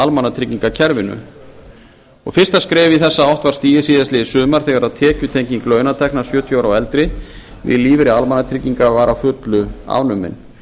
í almannatryggingakerfinu fyrsta skrefið í þessa átt var stigið síðastliðið sumar þegar tekjutenging launatekna sjötíu ára og eldri við lífeyri almannatrygginga var að fullu afnumin